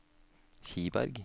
Kiberg